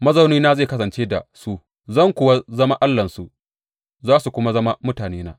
Mazaunina zai kasance da su; zan kuwa zama Allahnsu, za su kuma zama mutanena.